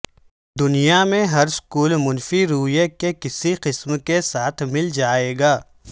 دنیا میں ہر سکول منفی رویے کے کسی قسم کے ساتھ مل جائے گا